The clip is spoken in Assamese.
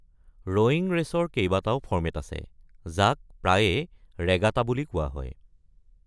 ৰোয়িং ৰেচৰ কেইবাটাও ফৰ্মেট আছে, যাক প্ৰায়ে ‘ৰেগাটা’ বুলি কোৱা হয়।